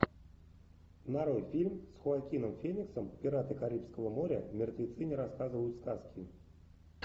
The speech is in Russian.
нарой фильм с хоакином фениксом пираты карибского моря мертвецы не рассказывают сказки